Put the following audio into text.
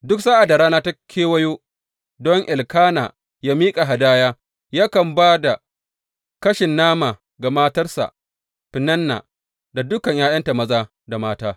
Duk sa’ad da rana ta kewayo don Elkana yă miƙa hadaya, yakan ba da kashin nama ga matarsa Feninna da dukan ’ya’yanta maza da mata.